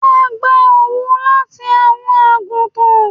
À n gbà owú láti awọn agútàn